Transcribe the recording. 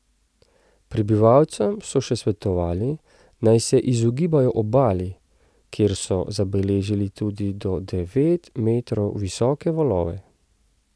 Prebivalcem so še svetovali, naj se izogibajo obali, kjer so zabeležili tudi do devet metrov visoke valove.